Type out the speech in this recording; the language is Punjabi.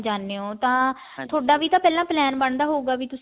ਜਾਣੇ ਹੋਣ ਤਾਂ ਵੀ ਤਾਂ ਪਹਿਲਾਂ plan ਬਣਦਾ ਹੋਊਗਾ ਵੀ